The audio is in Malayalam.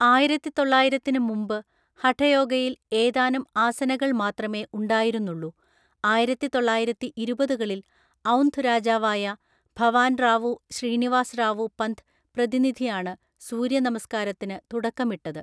ആയിരത്തിതൊള്ളായിരത്തിന് മുമ്പ് ഹഠയോഗയിൽ ഏതാനും ആസനകൾ മാത്രമേ ഉണ്ടായിരുന്നുള്ളൂ; ആയിരത്തിതൊള്ളായിരത്തിഇരുപതുകളിൽ ഔന്ധ് രാജാവായ ഭവാൻറാവു ശ്രീനിവാസ് റാവു പന്ത് പ്രതിനിധിയാണ് സൂര്യ നമസ്കാരത്തിന് തുടക്കമിട്ടത്.